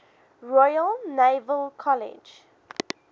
royal naval college